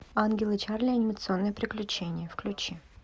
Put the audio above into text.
ангелы чарли анимационные приключения включи